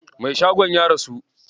Mai shagon ya rasu.